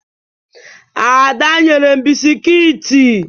Ada nyere m bisikiiti.